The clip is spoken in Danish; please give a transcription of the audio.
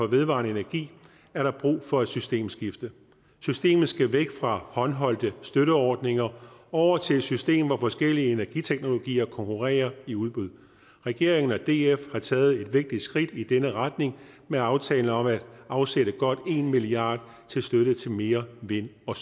vedvarende energi er der brug for et systemskifte systemet skal væk fra håndholdte støtteordninger og over til et system hvor forskellige energiteknologier konkurrerer i udbud regeringen og df har taget et vigtigt skridt i denne retning med aftalen om at afsætte godt en milliard kroner til støtte til mere vind og